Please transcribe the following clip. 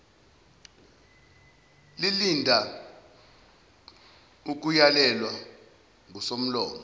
lilinda ukuyalelwa ngusomlomo